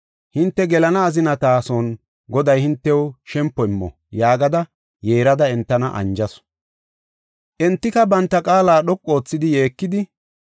Hinte gelana azinata son Goday hintew shempo immo” yaagada yeerada entana anjasu. Entika banta qaala dhoqu oothidi yeekidi,